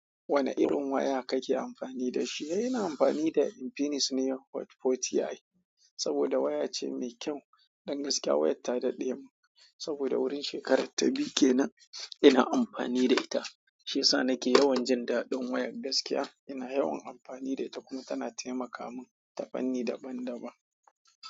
Wane irin waya kake amfani da shi? Ina amfani da Infinix ne, Hot 40i, saboda waya ce mai kyau. Don gaskiya, wayar ta dad'emun, saboda wurin shekarar ta biyu ke nan ina amfani da ita. Shiyasa nake yawan jin daɗin wayar gaskiya, ina yawan amfani da ita kuma tana taimaka min tafanni daban-daban.